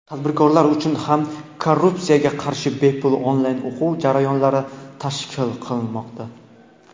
tadbirkorlar uchun ham korrupsiyaga qarshi bepul onlayn o‘quv jarayonlar tashkil qilinmoqda.